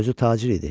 Özü tacir idi.